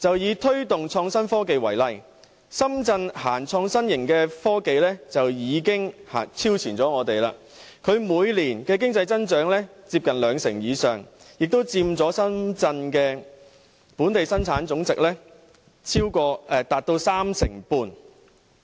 以推動創新科技為例，深圳推行創新型科技已經超前我們，行業的經濟增長每年接近兩成以上，亦佔深圳的本地生產總值達到三成半。